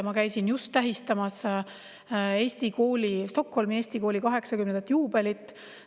Ma käisin just tähistamas Stockholmi Eesti Kooli 80 aasta juubelit.